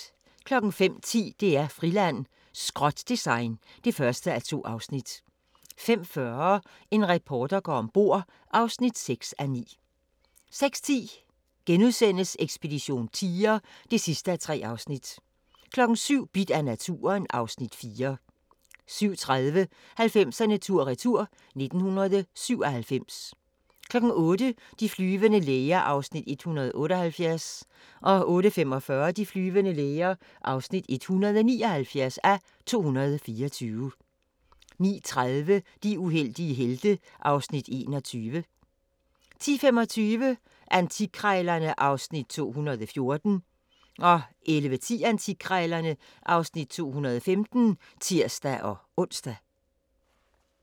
05:10: DR-Friland: Skrot-design (1:2) 05:40: En reporter går om bord (6:9) 06:10: Ekspedition tiger (3:3)* 07:00: Bidt af naturen (Afs. 4) 07:30: 90'erne tur-retur: 1997 08:00: De flyvende læger (178:224) 08:45: De flyvende læger (179:224) 09:30: De uheldige helte (Afs. 21) 10:25: Antikkrejlerne (Afs. 214) 11:10: Antikkrejlerne (Afs. 215)(tir-ons)